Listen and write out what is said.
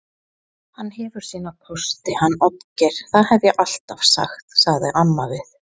Hann hefur sína kosti hann Oddgeir, það hef ég alltaf sagt, sagði amma við